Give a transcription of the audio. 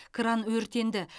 кран өртенді